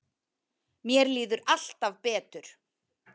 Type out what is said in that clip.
Mér líður alltaf betur.